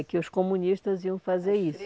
que os comunistas iam fazer isso.